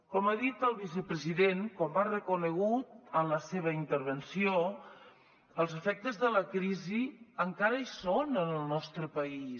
com ha dit el vicepresident com ha reconegut en la seva intervenció els efectes de la crisi encara hi són en el nostre país